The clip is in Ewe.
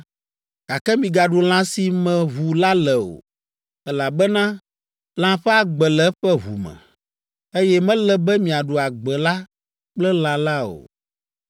gake migaɖu lã si me ʋu le la o, elabena lã ƒe agbe le eƒe ʋu me, eye mele be miaɖu agbe la kple lã la o.